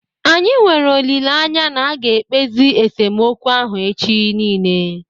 Anyị nwere olileanya na aga ekpezi esemokwu ahụ echi niile